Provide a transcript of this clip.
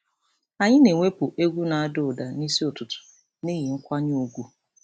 Anyị na-ewepụ egwu na-ada ụda n'isi ụtụtụ n'ihi nkwanye ùgwù.